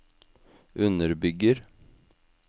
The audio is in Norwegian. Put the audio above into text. underbygger